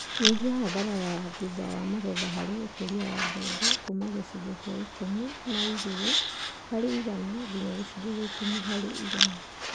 Nyihia hathara ya thutha wa magetha harĩ ũkũria wa mbembe kuuma gĩcunjĩ kĩa ikũmi na igirĩ harĩ igana nginya gĩcunjĩ kĩa ikũmi harĩ igana